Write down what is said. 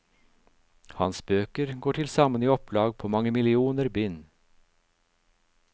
Hans bøker går til sammen i opplag på mange millioner bind.